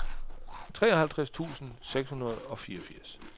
treogtres tusind seks hundrede og fireogfirs